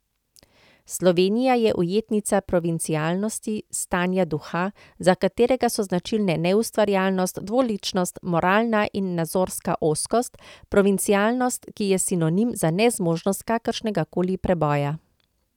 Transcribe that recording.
Slovenija je ujetnica provincialnosti, stanja duha, za katerega so značilne neustvarjalnost, dvoličnost, moralna in nazorska ozkost, provincialnost, ki je sinonim za nezmožnost kakršnega koli preboja.